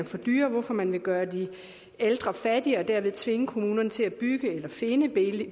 for dyre vil man gøre de ældre fattigere og derved tvinge kommunerne til at bygge eller finde